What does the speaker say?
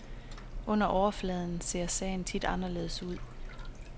Under overfladen ser sagen tit anderledes ud.